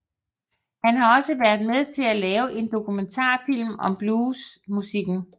Han har også været med til at lave en dokumentarfilm om bluesmusikken